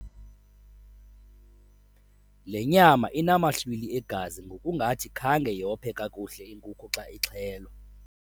Le nyama inamahlwili egazi ngokungathi khange yophe kakuhle inkuku xa ixhelwa.